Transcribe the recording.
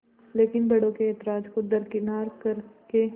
लेकिन बड़ों के ऐतराज़ को दरकिनार कर के